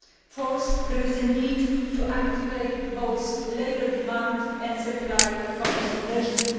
Fourthly, there is a need to activate both labour demand and supply policy measures.